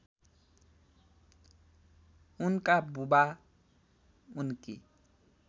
उनका बुबा उनकी